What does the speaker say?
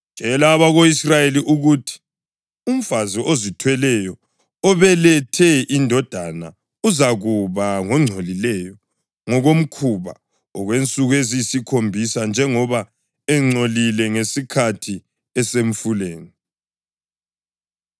“Tshela abako-Israyeli ukuthi: ‘Umfazi ozithweleyo obelethe indodana uzakuba ngongcolileyo ngokomkhuba okwensuku eziyisikhombisa njengoba engcolile ngesikhathi esemfuleni.